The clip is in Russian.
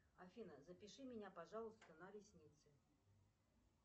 афина запиши меня пожалуйста на ресницы